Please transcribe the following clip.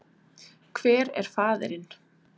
Hver er faðirinn?